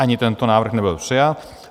Ani tento návrh nebyl přijat.